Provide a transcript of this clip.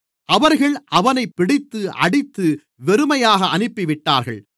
அவர்கள் அவனைப் பிடித்து அடித்து வெறுமையாக அனுப்பிவிட்டார்கள்